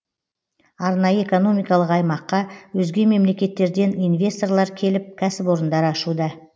арнайы экономикалық аймаққа өзге мемлекеттерден инвесторлар келіп кәсіпорындар ашуда